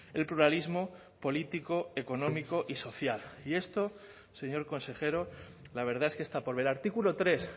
el pluralismo político económico y social y esto señor consejero la verdad es que está por ver artículo tres